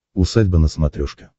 усадьба на смотрешке